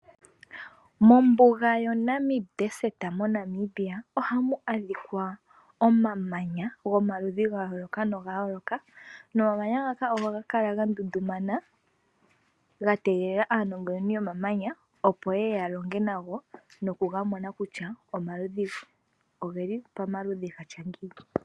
Mombuga yoNamib desert moNamibia ohamu adhika omamanya gomaludhi ga yooloka noga yooloka, nomamanya ngaka ohaga kala ga ndundumana ga tegelela aanongononi yomamamanya opo ye ye ya longe nago noku ga mona kutya ogeli pamaludhi gatya ngiini.